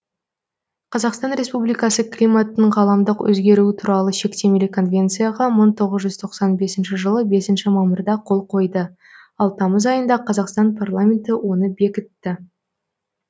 қазақстан республикасы климаттың ғаламдық өзгеруі туралы шектемелі конвенцияға мың тоғыз жүз тоқсан бесінші жылы бесінші мамырда қол қойды ал тамыз айында қазақстан парламенті оны бекітті